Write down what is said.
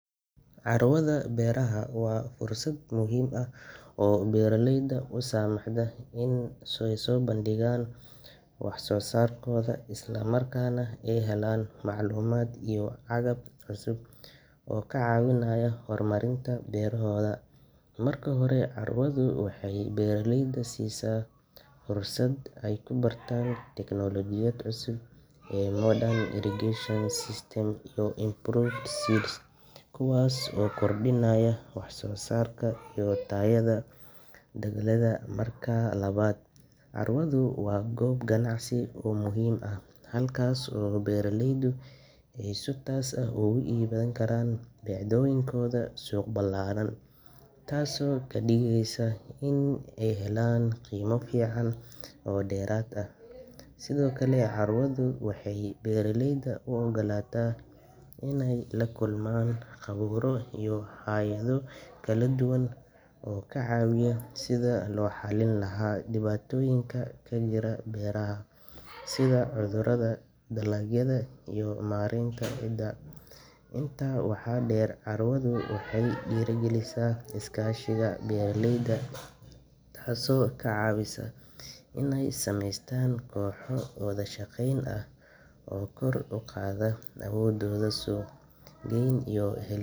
Carwada beeraha waa fursad muhiim ah oo beeraleyda u saamaxda inay soo bandhigaan wax soo saarkooda, isla markaana ay helaan macluumaad iyo agab cusub oo ka caawinaya horumarinta beerahooda. Marka hore, carwadu waxay beeraleyda siisaa fursad ay ku bartaan teknoolojiyad cusub sida modern irrigation systems iyo improved seeds, kuwaas oo kordhiya wax soo saarka iyo tayada dalagyada. Marka labaad, carwadu waa goob ganacsi oo muhiim ah, halkaas oo beeraleydu ay si toos ah ugu iibin karaan badeecooyinkooda suuq ballaaran, taasoo ka dhigaysa inay helaan qiimo fiican oo dheeraad ah. Sidoo kale, carwadu waxay beeraleyda u ogolaataa inay la kulmaan khuburo iyo hay’ado kala duwan oo ka caawiya sidii loo xallin lahaa dhibaatooyinka ka jira beeraha sida cudurada dalagyada iyo maareynta ciidda. Intaa waxaa dheer, carwadu waxay dhiirrigelisaa iskaashiga beeraleyda, taasoo ka caawisa inay sameystaan kooxo wada shaqeyn ah oo kor u qaada awoodooda suuq-geyn iy.